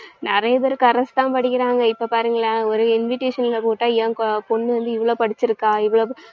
நெறையபேரு corres தான் படிக்கிறாங்க. இப்ப பாருங்களேன் ஒரு invitation ல போட்டா ஏன் கு~ ஏன் பொண்ணு வந்து இவ்ளோ படிச்சுருக்கா